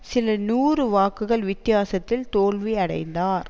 சில நூறு வாக்குகள் வித்தியாசத்தில் தோல்வி அடைந்தார்